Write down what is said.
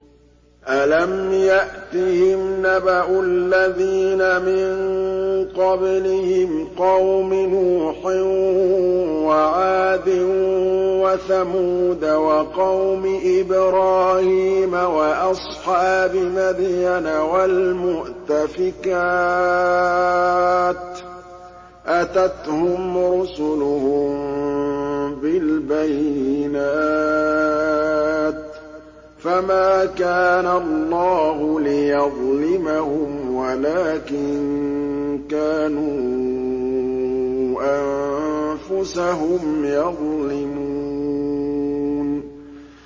أَلَمْ يَأْتِهِمْ نَبَأُ الَّذِينَ مِن قَبْلِهِمْ قَوْمِ نُوحٍ وَعَادٍ وَثَمُودَ وَقَوْمِ إِبْرَاهِيمَ وَأَصْحَابِ مَدْيَنَ وَالْمُؤْتَفِكَاتِ ۚ أَتَتْهُمْ رُسُلُهُم بِالْبَيِّنَاتِ ۖ فَمَا كَانَ اللَّهُ لِيَظْلِمَهُمْ وَلَٰكِن كَانُوا أَنفُسَهُمْ يَظْلِمُونَ